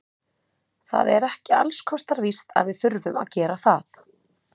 Það er ekki alls kostar víst að við þurfum að gera það.